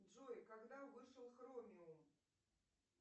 джой когда вышел хромиум